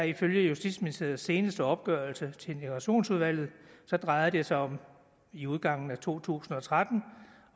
ifølge justitsministeriets seneste opgørelse til integrationsudvalget drejer det sig i udgangen af to tusind og tretten